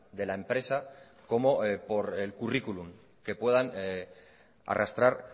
de la empresa como por el currículum que puedan arrastrar